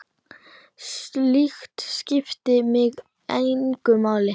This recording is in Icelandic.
Slíkt skiptir mig engu máli.